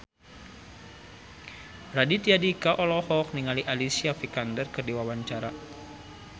Raditya Dika olohok ningali Alicia Vikander keur diwawancara